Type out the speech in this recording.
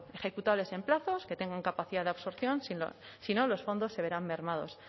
ejecutables en plazos que tengan capacidad de absorción si no los fondos se verán mermados